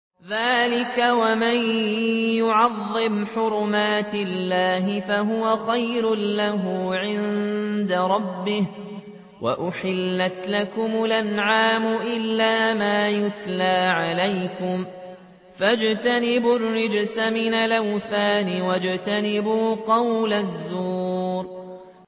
ذَٰلِكَ وَمَن يُعَظِّمْ حُرُمَاتِ اللَّهِ فَهُوَ خَيْرٌ لَّهُ عِندَ رَبِّهِ ۗ وَأُحِلَّتْ لَكُمُ الْأَنْعَامُ إِلَّا مَا يُتْلَىٰ عَلَيْكُمْ ۖ فَاجْتَنِبُوا الرِّجْسَ مِنَ الْأَوْثَانِ وَاجْتَنِبُوا قَوْلَ الزُّورِ